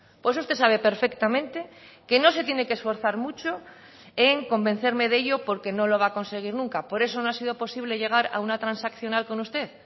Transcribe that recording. pues usted sabe perfectamente que no se tiene que esforzar mucho en convencerme de ello porque no lo va a conseguir nunca por eso no ha sido posible llegar a una transaccional con usted